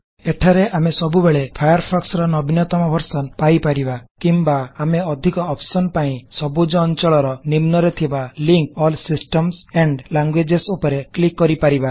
ଏଠାରେ ଆମେ ସବୁବେଳେ ଫାୟାରଫୋକ୍ସ ର ନବୀନତମ ଭର୍ସନ ପାଇ ପାରିବା କିମ୍ବା ଆମେ ଅଧିକ ଅପସନସ ପାଇଁ ସବୁଜ ଅଂଚଳ ର ନିମ୍ନରେ ଥିବା ଲିକଂ ଆଲ୍ ସିଷ୍ଟମ୍ସ ଆଣ୍ଡ୍ ଲ୍ୟାଙ୍ଗୁଏଜ ଉପରେ କ୍ଲିକ୍ କରିପାରିବା